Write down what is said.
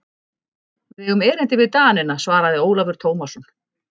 Við eigum erindi við Danina, svaraði Ólafur Tómasson.